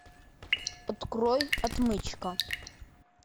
открой отмычка